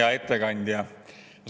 Hea ettekandja!